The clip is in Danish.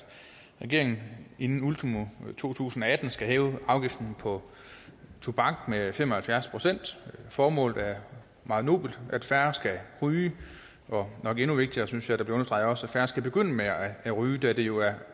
regeringen inden ultimo to tusind og atten skal hæve afgiften for tobak med fem og halvfjerds procent formålet er meget nobelt at færre skal ryge og nok endnu vigtigere synes jeg bliver det understreget at færre skal begynde at ryge da det jo er